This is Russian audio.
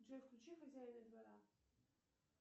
джой включи хозяина двора